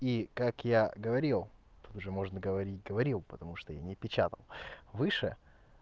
и как я говорил тут уже можно говорить говорил потому что я не печатал выше